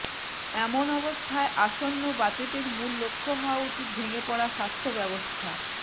এমন অবস্থায় আসন্ন বাজেটের মূল লক্ষ্য হওয়া উচিত ভেঙে পড়া স্বাস্থ্য ব্যবস্থা